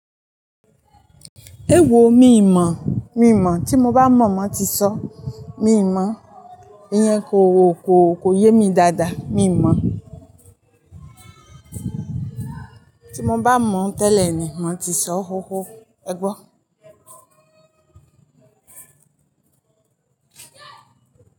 Ewo, mi o mọ, mi o mọ, ti mo ba mọ, má tí sọ. Mi ń mọ. Iyẹn ko ko ko yé mi dáadáa. Mi o mọ. Ti mo bá mọ tẹ́lẹ̀ ni má tí sọ ó hóhó. Ẹ gbọ́.